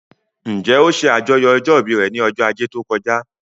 Njẹ́ ó ṣe àjọyọ̀ ọjọ́ ìbí rẹ̀ ní ọjọ́ ajé tó kọjá?